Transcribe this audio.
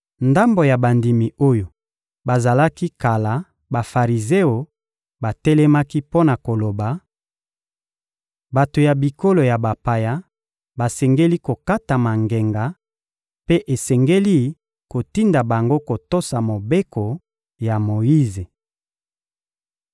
Ndambo ya bandimi oyo bazalaki kala Bafarizeo batelemaki mpo na koloba: — Bato ya bikolo ya bapaya basengeli kokatama ngenga, mpe esengeli kotinda bango kotosa Mobeko ya Moyize.